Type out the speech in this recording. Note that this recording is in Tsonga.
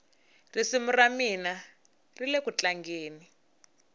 risimu ramina rilekutlangeni